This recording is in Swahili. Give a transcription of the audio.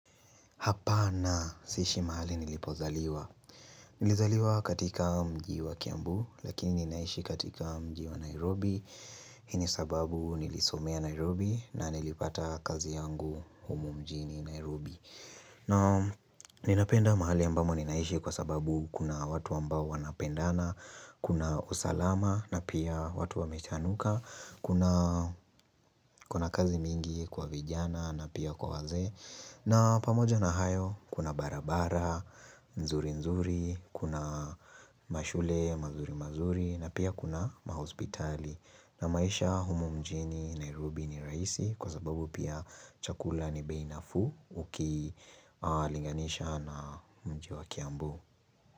Hapana siishi mahali nilipozaliwa Nilizaliwa katika mjiwa kiambu Lakini ninaishi katika mjiwa Nairobi Hini sababu nilisomea Nairobi na nilipata kazi yangu humumjini Nairobi na ninapenda mahali ambamo ninaishi kwa sababu Kuna watu ambao wanapendana Kuna usalama na pia watu wamechanuka Kuna kazi mingi kwa vijana na pia kwa waze na pamoja na hayo kuna barabara, nzuri nzuri, kuna mashule, mazuri mazuri na pia kuna mahospitali. Na maisha humu mjini Nairobi ni raisi kwa sababu pia chakula ni beinafuu uki linganisha na mji wa kiambu.